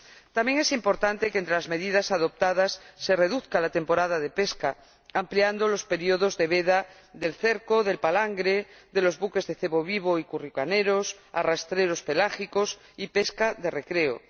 También es importante que, entre las medidas adoptadas, se reduzca la temporada de pesca, ampliando los períodos de veda del cerco, del palangre, de los buques de cebo vivo y curricaneros, de los arrastreros pelágicos y de la pesca de recreo.